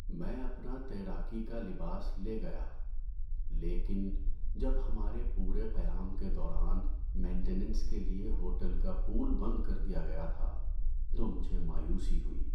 میں اپنا تیراکی کا لباس لے گیا لیکن جب ہمارے پورے قیام کے دوران مینٹنینس کے لیے ہوٹل کا پول بند کر دیا گیا تھا تو مجھے مایوسی ہوئی۔